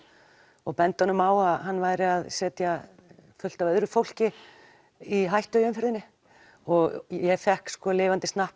og benda honum á að hann væri að setja fullt af öðru fólki í hættu í umferðinni og ég fékk lifandi